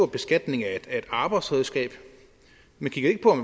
beskatning af et arbejdsredskab